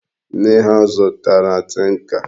Nne ha zutara tinka.